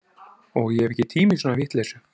Og ég hef ekki tíma í svona vitleysu